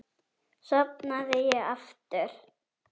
Sofnaði ég aftur?